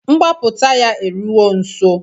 Mgbaputa ya eruwo nso